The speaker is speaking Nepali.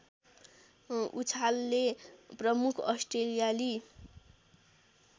उछालले प्रमुख अस्ट्रेलियाली